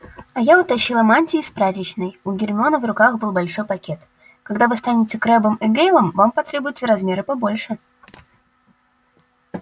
а я утащила мантии из прачечной у гермионы в руках был большой пакет когда вы станете крэббом и гэйлом вам потребуются размеры побольше